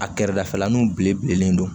A kɛrɛdafɛlanw bile bilennen don